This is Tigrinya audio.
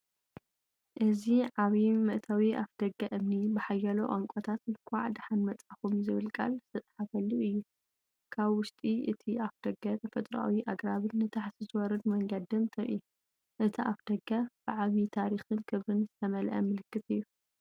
እዚ ዓቢ መእተዊ ኣፍደገ እምኒ፡ ብሓያሎ ቋንቋታት "እንኳዕ ደሓን መጻእኩም" ዝብል ቃል ዝተጻሕፈሉ እዩ። ካብ ውሽጢ እቲ ኣፍደገ ተፈጥሮኣዊ ኣግራብን ንታሕቲ ዝወርድ መንገድን ትርኢ፤ እቲ ኣፍደገ ብዓቢ ታሪኽን ክብርን ዝተመልአ ምልክት እዩ።